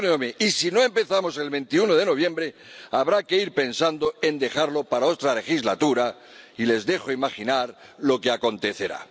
Y si no empezamos el 21 de noviembre, habrá que ir pensando en dejarlo para otra legislatura, y les dejo imaginar lo que acontecerá.